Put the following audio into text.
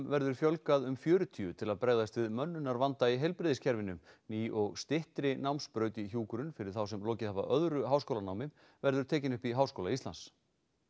verður fjölgað um fjörutíu til að bregðast við mönnunarvanda í heilbrigðiskerfinu ný og styttri námsbraut í hjúkrun fyrir þá sem lokið hafa öðru háskólanámi verður tekin upp í Háskóla Íslands